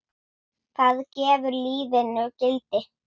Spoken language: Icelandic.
Hvað gefur lífinu gildi?